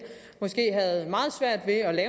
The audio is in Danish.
havde meget svært ved at